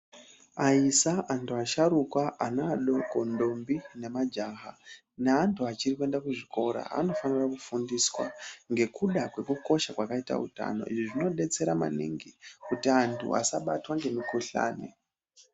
Aisa vantu asharuka ana adoko ndombi nemajaha neantu achiri kuenda kuzvikora anofanirwa kufundiswa ngekuda kwakakosha kwakaita utano izvizvi nodetsera maningi kuti asabatwa nemukuhlani.